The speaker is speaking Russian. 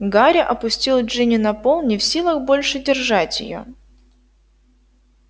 гарри опустил джинни на пол не в силах больше держать её